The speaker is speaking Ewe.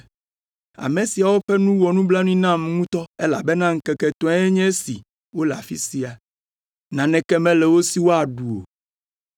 “Ame siawo ƒe nu wɔ nublanui nam ŋutɔ, elabena ŋkeke etɔ̃e nye esi wole afi sia, naneke mele wo si woaɖu o.